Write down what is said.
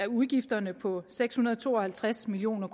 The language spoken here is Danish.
udgifterne på seks hundrede og to og halvtreds million